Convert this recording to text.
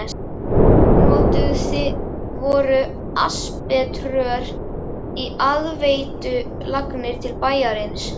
Notuð voru asbeströr í aðveitulagnir til bæjarins.